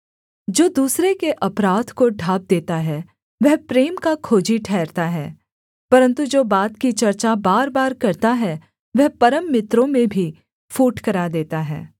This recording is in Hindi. जो दूसरे के अपराध को ढाँप देता है वह प्रेम का खोजी ठहरता है परन्तु जो बात की चर्चा बार बार करता है वह परम मित्रों में भी फूट करा देता है